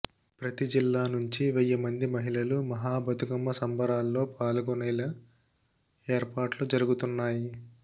ప్రతి జిల్లా నుంచి వెయ్యి మంది మహిళలు మహాబతుకమ్మ సంబరాల్లో పాల్గొనేలా ఏర్పాట్లు జరుగుతున్నాయి